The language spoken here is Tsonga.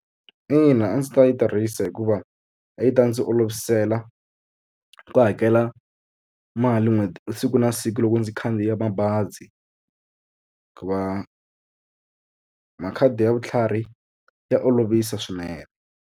Ina a ndzi ta yi tirhisa hikuva a yi ta ndzi olovisela ku hakela mali n'hweti siku na siku loko ndzi khandziya mabazi ku va makhadi ya vutlhari ya olovisa swinene.